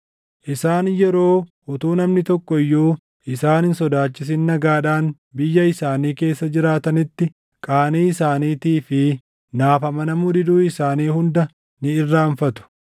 Isaan yeroo utuu namni tokko iyyuu isaan hin sodaachisin nagaadhaan biyya isaanii keessa jiraatanitti qaanii isaaniitii fi naaf amanamuu diduu isaanii hunda ni irraanfatu.